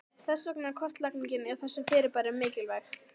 Þess vegna er kortlagning á þessum fyrirbærum mikilvæg.